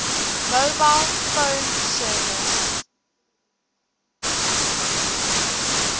mobile phone service